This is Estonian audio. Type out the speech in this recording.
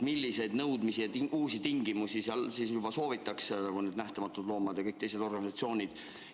Milliseid nõudmisi ja uusi tingimusi mujal juba soovitakse – no see Nähtamatud Loomad ja teised organisatsioonid?